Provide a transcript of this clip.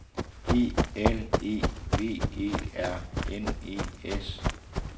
E L E V E R N E S